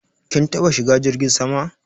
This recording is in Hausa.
Kin taba shigan jirgin sama?